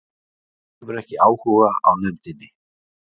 Hefur ekki áhuga á nefndinni